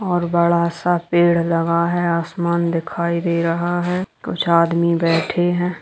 और बड़ा सा पेड़ लगा है आसमान दिखाई दे रहा है कुछ आदमी बैठे हैं।